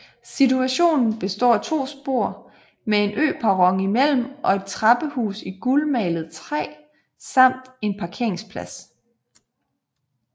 Stationen består af to spor med en øperron imellem og et trappehus i gulmalet træ samt en parkeringsplads